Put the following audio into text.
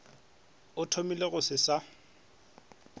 a thomile go se sa